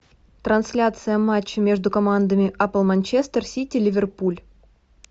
трансляция матча между командами апл манчестер сити ливерпуль